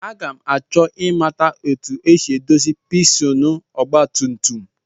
Aga m achọ ịmata etu e si edozi pistin ọgbatumtum